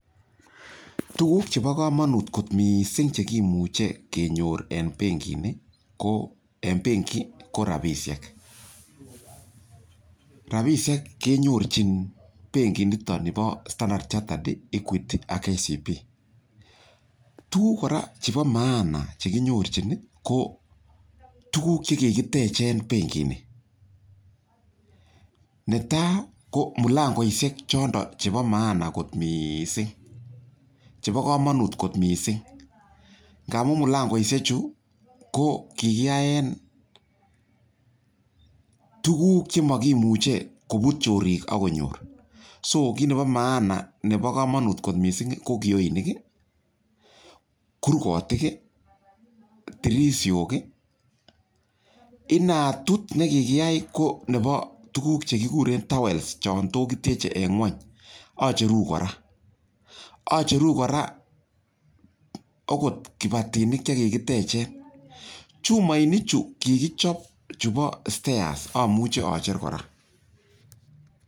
Tuguk che pa kamanut kot missing' che imuchi kenyor en penkini ko en penki, ko rapishek. Rapishek kenyor benkinitoni pa Standard Chartered, Eguity ak KCB. Tugul kora chepo maana che kinyorchin kp tuguk che kikiteche penkini. Ne tai ko mpangoishek chanda, chepo maana missing', che pa kamanut kot missing' ngamu mlangoishechu ko kikiyae tuguk che ma kimuche koput chorik ak konyor. So kit nepo maana, nepo kamanut kot missing' ko kioinik i, kurgotik i, dirsishok i, inatit ne kikiyai ko nepo tuguk che kikuren tiles chan tot kitieche eng' ngweny, acheru kora . Acheru kora akot kipatinik che kikiteche. Chumainichu kikichop chepo stairs amuchi acher kora.